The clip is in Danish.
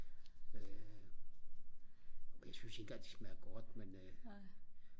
øh og jeg synes ikke engang de smager godt men øh